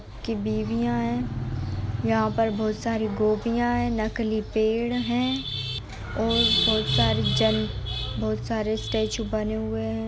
की बीवियां है। यहाँ पर बहुत सारी गोपियाँ है नकली पेड़ हैं और बहुत सारी जन बहुत सारे स्टेचू बने हुए हैं।